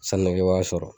Sanukɛ b'a sɔrɔ